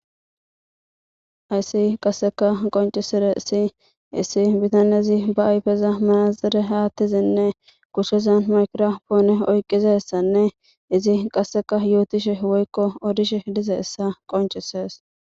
ayssi qasseka qoncisire isi issi bitanezi ba ayfeza manazire haattizinne kushezan maykropoone oyqizessanne izi qasseka yootishe woykko odishe dize issa qoncisees